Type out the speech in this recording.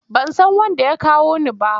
Ban san wanda ya kawo ni ba.